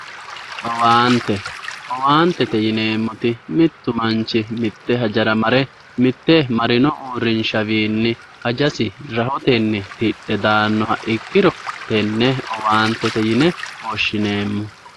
Owaante owaantete yineemmoti mittu manchi mitte hajara mare marino uurrinshawiinni hajasi rahotenni tidhe daannoha ikkiro tenne owaantete yine woshshinayi.